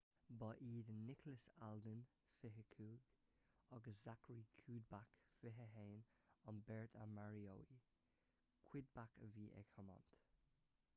ba iad nicholas alden 25 agus zachary cuddeback 21 an bheirt a maraíodh cuddeback a bhí ag tiomáint